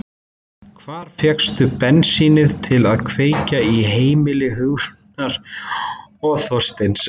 Hvar fékkstu bensínið til að kveikja í heimili Hugrúnar og Þorsteins?